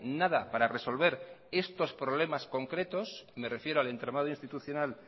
nada para resolver estos problemas concretos me refiero al entramado institucional